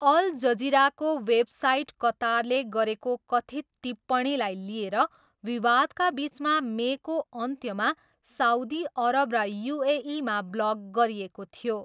All जजिराको website कतारले गरेको कथित् टिप्पणीलाई लिएर विवादका बिचमा मेको अन्त्यमा साउदी अरब र युएईमा ब्लक गरिएको थियो।